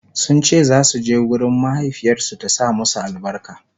sunce zasu je gurin mahaifiyarsu ta sa musu albarka